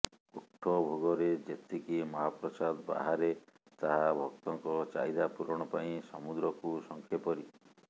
କୋଠଭୋଗରେ ଯେତିକି ମହାପ୍ରସାଦ ବାହାରେ ତାହା ଭକ୍ତଙ୍କ ଚାହିଦା ପୂରଣ ପାଇଁ ସମୁଦ୍ରକୁ ଶଙ୍ଖେପରି